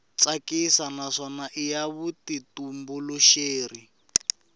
tsakisa naswona i ya vutitumbuluxeri